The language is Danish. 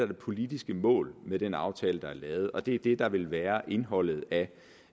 det politiske mål med den aftale der er lavet og det er det der vil være indholdet af